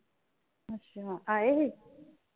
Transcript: ਅੱਛਾ ਆਏ ਹੀ?